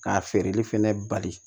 K'a feereli fɛnɛ bali